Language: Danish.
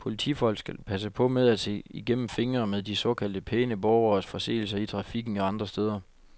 Politifolk skal passe på med at se igennem fingre med de såkaldte pæne borgeres forseelser i trafikken og andre steder.